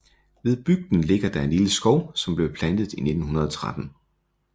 Ved bygden ligger der en lille skov som blev plantet i 1913